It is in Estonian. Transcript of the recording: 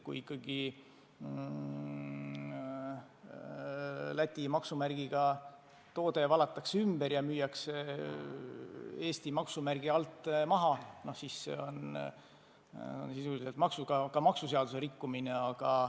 Kui ikkagi Läti maksumärgiga toode valatakse ümber ja müüakse Eesti maksumärgiga maha, siis see on sisuliselt maksuseaduse rikkumine.